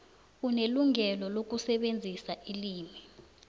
unelungelo lokusebenzisa ilimi